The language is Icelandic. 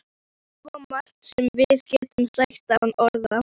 Það er svo margt sem við getum sagt án orða.